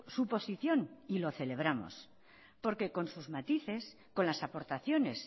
su posición y lo celebramos porque con sus matices con las aportaciones